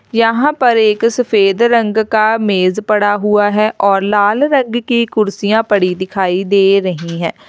यहां पर एक सफेद रंग का मेज पड़ा हुआ है और लाल रंग की कुर्सियां पड़ी दिखाई दे रही हैं।